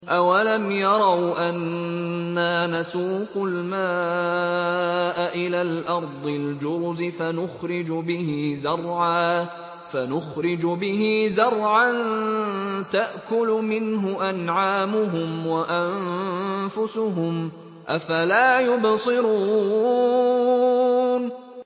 أَوَلَمْ يَرَوْا أَنَّا نَسُوقُ الْمَاءَ إِلَى الْأَرْضِ الْجُرُزِ فَنُخْرِجُ بِهِ زَرْعًا تَأْكُلُ مِنْهُ أَنْعَامُهُمْ وَأَنفُسُهُمْ ۖ أَفَلَا يُبْصِرُونَ